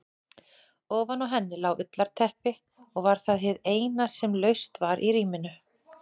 Ofan á henni lá ullarteppi og var það hið eina sem laust var í rýminu.